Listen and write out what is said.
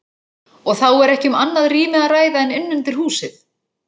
Og þá er ekki um annað rými að ræða en inn undir húsið.